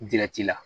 la